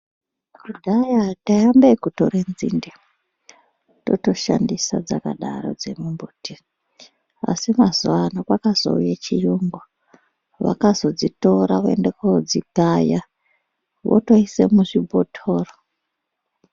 Kudhaya taiambe ekutore nzinde totoshandisa dzakadaro dzemimbiti, asi mazuvano kwakazouye chiyungu vakazodzitora voende kodzikaya votoise muzvibhotoro.